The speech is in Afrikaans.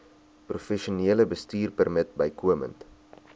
professionele bestuurpermit bykomend